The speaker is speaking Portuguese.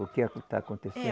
O que a, que está acontecendo? É